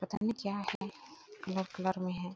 पता नही क्या है कलर -कलर में है।